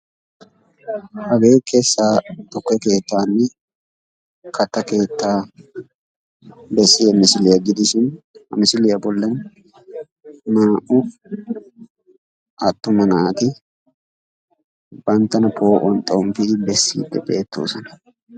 Hage kessa tukke keettanne katta keettaa bessiya misiliya gidishin, ha misiliya bollan naa"u attuma naati banttana poo"uwan xomppodi xeellidi beettoosona.